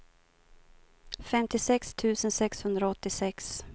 femtiosex tusen sexhundraåttiosex